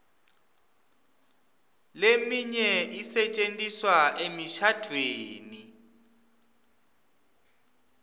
leminye isetjentiswa emishadvweni